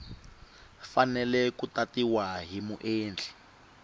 fanele ku tatiwa hi muendli